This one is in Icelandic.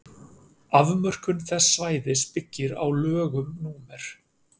afmörkun þess svæðis byggir á lögum númer